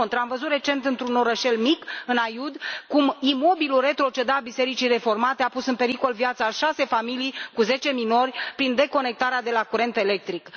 Din contră, am văzut recent într un orășel mic, în Aiud, cum imobilul retrocedat Bisericii Reformate a pus în pericol viața a șase familii, cu zece minori, prin deconectarea de la curentul electric.